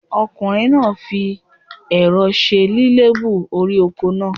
Ọkùnrin náà fi èro se lílébú orí oko náà